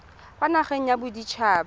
kwa nageng ya bodit haba